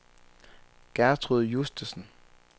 Gertrud Justesen